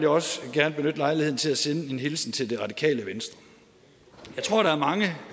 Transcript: også gerne benytte lejligheden til at sende en hilsen til det radikale venstre